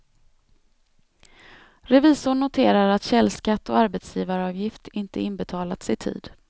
Revisorn noterar att källskatt och arbetsgivaravgift inte inbetalats i tid.